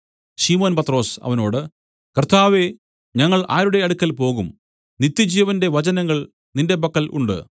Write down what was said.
ശിമോൻ പത്രൊസ് അവനോട് കർത്താവേ ഞങ്ങൾ ആരുടെ അടുക്കൽ പോകും നിത്യജീവന്റെ വചനങ്ങൾ നിന്റെ പക്കൽ ഉണ്ട്